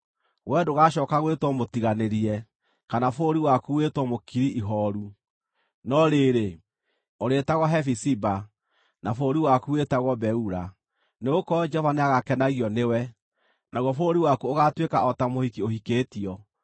Wee ndũgacooka gwĩtwo Mũtiganĩrie, kana bũrũri waku wĩtwo Mũkiri-Ihooru. No rĩrĩ, ũrĩĩtagwo Hefiziba, na bũrũri waku wĩtagwo Beula; nĩgũkorwo Jehova nĩagakenagio nĩwe, naguo bũrũri waku ũgaatuĩka o ta mũhiki ũhikĩtio.